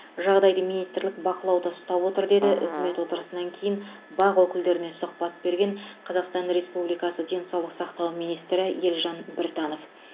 жағдайды министрлік бақылауда ұстап отыр деді үкімет отырысынан кейін бақ өкілдеріне сұхбат берген қазақстан республикасы денсаулық сақтау министрі елжан біртанов